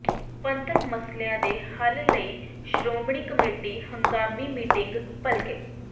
ਪੰਥਕ ਮਸਲਿਆਂ ਦੇ ਹੱਲ ਲਈ ਸ਼੍ਰੋਮਣੀ ਕਮੇਟੀ ਹੰਗਾਮੀ ਮੀਟਿੰਗ ਭਲਕੇ